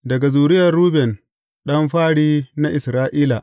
Daga zuriyar Ruben ɗan fari na Isra’ila.